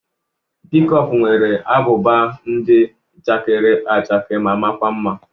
Pịkọkụ nwere ábụbà ndị chakere áchàke ma maa kwa mma.